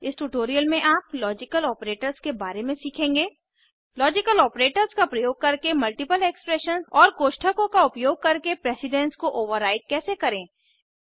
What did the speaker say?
इस ट्यूटोरियल में आप लॉजिकल आपरेटर्स के बारे में सीखेंगे लॉजिकल आपरेटर्स का प्रयोग करके मल्टीपल एक्सप्रेशंस और कोष्ठकों का उपयोग करके प्रेसिडन्स को ओवरराइड कैसे करें160